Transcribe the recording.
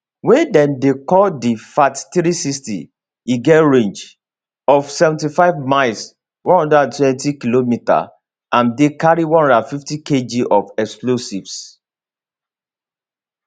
wey dem dey call di fath360 e get range of 75 miles 120km and dey carry 150kg of explosives